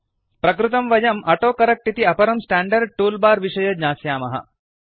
प्रकृतं वयं ऑटोकरेक्ट इति अपरं स्टांडर्ड टूल बार विषये ज्ञास्यामः